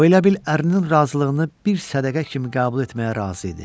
O elə bil ərin razılığını bir sədəqə kimi qəbul etməyə razı idi.